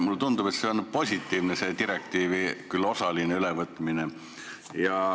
Mulle tundub, et see on positiivne, see direktiivi ülevõtmine, küll osaline ülevõtmine.